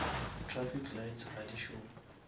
trafic lights ga di šome